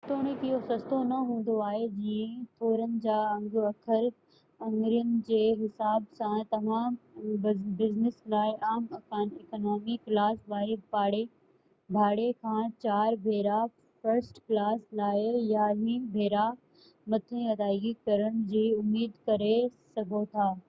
جيتوڻيڪ اهو سستو نه هوندو آهي جيئن ٿورن جا انگ اکر آڱرين جي حساب سان توهان بزنس لاءِ عام اڪانامي ڪلاس واري ڀاڙي کان چار ڀيرا فرسٽ ڪلاس لاءِ يارانهن ڀيرا مٿي ادائگي ڪرڻ جي اميد ڪري سگهو ٿا